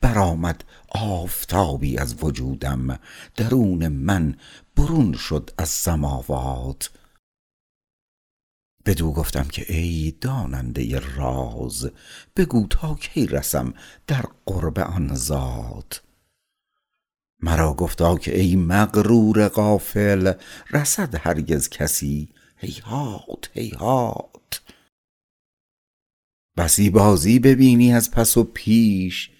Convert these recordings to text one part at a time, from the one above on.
برآمد آفتابی از وجودم درون من برون شد از سماوات بدو گفتم که ای داننده راز بگو تا کی رسم در قرب آن ذات مرا گفتا که ای مغرور غافل رسد هرگز کسی هیهات هیهات بسی بازی ببینی از پس و پیش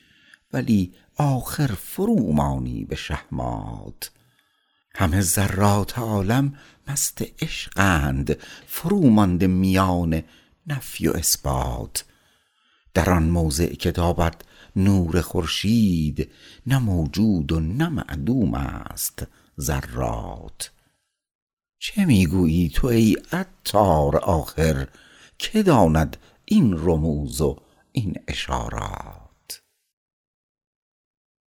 ولی آخر فرومانی به شهمات همه ذرات عالم مست عشقند فرومانده میان نفی و اثبات در آن موضع که تابد نور خورشید نه موجود و نه معدوم است ذرات چه می گویی تو ای عطار آخر که داند این رموز و این اشارات